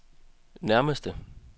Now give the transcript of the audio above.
nærmeste